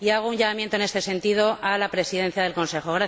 Y hago un llamamiento en este sentido a la Presidencia del Consejo.